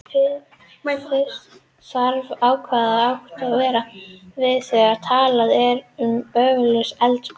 Fyrst þarf að ákveða hvað átt er við þegar talað er um öflugt eldgos.